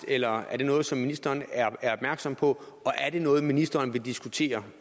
eller er det noget som ministeren er opmærksom på og er det noget ministeren vil diskutere